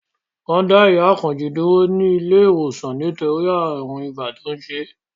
Wọ́n dá ìyá Àkànjí dúró sí ilé ìwòsàn nítorí ààrùn ibà tó ń ṣe é